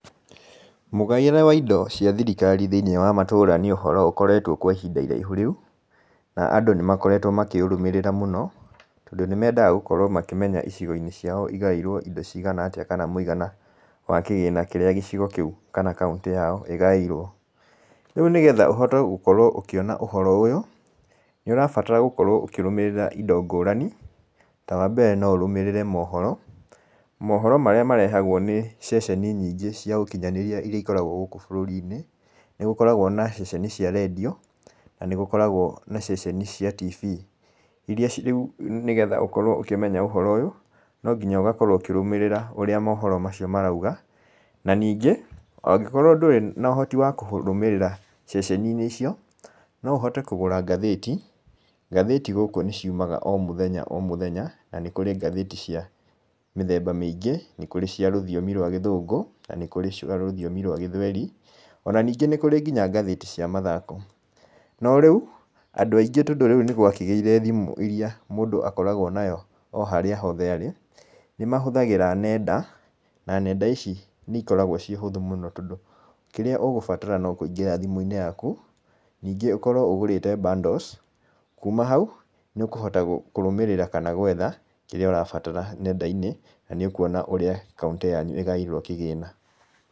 Mũgaĩre wa indo cia thirikari thĩinĩ wa matũra nĩ ũhoro ũkoretwo kwa ihinda rĩraihu rĩũ, na andũ nĩmakoretwo makĩũrũmĩrĩra mũno, tondũ nĩmendaga gũkorwo makĩmenya icigo-inĩ ciao igaĩirwo indo cigana atĩa, kana mũigana wa kĩgĩna kĩrĩa gĩcigo kĩu kana kaũntĩ yao ĩgaĩirwo. Rĩu nĩgetha gũkorwo ũkĩona ũhoro ũyũ, nĩ ũrabata gũkorwo ũkĩrũmĩrĩra indo ngũrani. Ta wambere no ũrũmĩrĩre mohoro, mohoro marĩa marehagwo nĩ ceceni nyingĩ cia ũkinyanĩria, iria ikoragwo gũkũ bũrũri-inĩ, nĩgũkoragwo na ceceni cia rendio, na nĩgũkoragwo ceceni cia tibi, iria rĩũ nĩgetha kũmenya ũhoro ũyũ, nonginya ũgakorwo ũkĩrũmĩrĩra ũrĩa mohoro macio marauga. Na ningĩ, angĩkorwo ndũrĩ na ũhoti wa kũrũmĩrĩra ceceni-inĩ icio, noũhote kũgũra ngathĩti. Ngathĩti gũkũ nĩ ciumaga o mũthenya o mũthenya, na nĩkũrĩ ngathĩti cia mĩthemba mĩingĩ, nĩkũrĩ ngathĩti cia rũthiomi rwa gĩthũngũ, na nĩkũrĩ cia rũthiomi rwa gĩthweri. Ona ningĩ nĩkũrĩ ngathĩti cia mathako. Norĩu, andũ aingĩ, tondũ rĩu nĩ gwakĩgĩire thimũ iria ũkoragwo nayo o handũ harĩa hothe mũndũ arĩ. Nĩmahũthagĩra nenda, na nenda ici nĩikoragwo irĩ ũhũthũ mũno tondũ, kĩrĩa ũgũbatara nokũingĩra thimu-inĩ yaku, ningĩ ũkorwo ũgũrĩte bundles, kuuma hau, nĩ ũkũhota kũrũmĩrĩra kana gwetha kĩrĩa ũrabatara nenda-inĩ, na nĩũkuona ũrĩa kaũntĩ yanyu ĩgaĩirwo kĩgĩna.